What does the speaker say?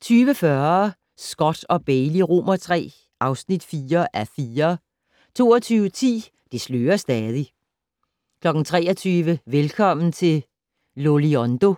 20:40: Scott & Bailey III (4:4) 22:10: Det slører stadig 23:00: Velkommen til Loliondo